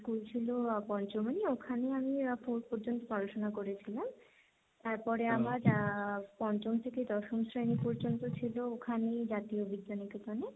School ছিল পঞ্চমী, ওখানে আমি Four পর্যন্ত পড়াশোনা করেছিলাম, তারপরে আমার আহ পঞ্চম থেকে দশম শ্রেণী পর্যন্ত ছিল ওখানেই জাতীয় বিদ্যানিকেতনে।